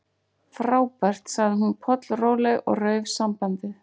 Frábært- sagði hún pollróleg og rauf sambandið.